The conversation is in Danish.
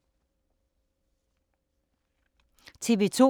TV 2